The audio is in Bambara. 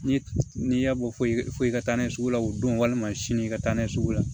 Ni n'i y'a bɔ fo i ka taa n'a ye sugu la o don walima sini ka taa n'a ye sugu la